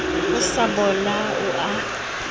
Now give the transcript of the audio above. ho sa bola o a